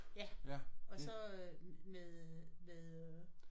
Ja og så øh med med øh